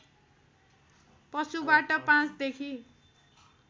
पशुबाट ५ देखि